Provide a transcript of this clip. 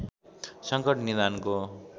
संकट निदानको